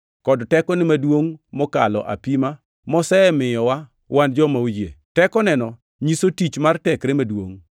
kod tekone maduongʼ mokalo apima mosemiyowa wan joma oyie. Tekoneno nyiso tich mar tekre maduongʼ,